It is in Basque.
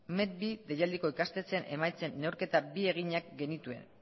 met bi deialdiko ikastetxeen emaitzen neurketak bi eginak genituen